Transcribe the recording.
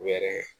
U yɛrɛ